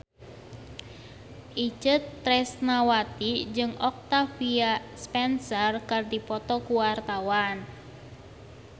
Itje Tresnawati jeung Octavia Spencer keur dipoto ku wartawan